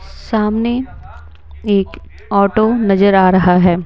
सामने एक ऑटो नजर आ रहा है।